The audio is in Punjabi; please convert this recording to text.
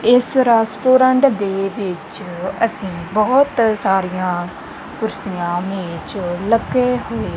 ਇਸ ਰੈਸਟੋਰੈਂਟ ਦੇ ਵਿੱਚ ਅਸੀਂ ਬਹੁਤ ਸਾਰੀਆਂ ਕੁਰਸੀਆਂ ਮੇਚ ਲੱਗੇ ਹੋਏ--